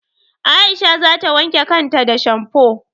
Aisha za ta wanke kan ta da shamfo.